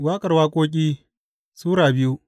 Waƙar Waƙoƙi Sura biyu